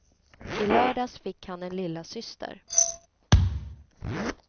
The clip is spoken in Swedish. I lördags fick han en lillasyster.